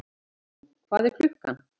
Hallrún, hvað er klukkan?